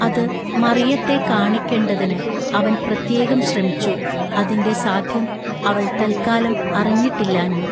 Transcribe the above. അതു മറിയത്തെക്കാണിക്കെണ്ടതിനു അവൻ പ്രത്യേകം ശ്രമിച്ചു അതിന്റെ സാദ്ധ്യം അവൾ തല്ക്കാലം അറിഞ്ഞിട്ടില്ലാഞ്ഞു.